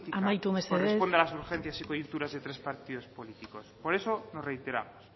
altura política amaitu mesedez corresponde a las urgencias y coyunturas de otros partidos políticos por eso nos reiteramos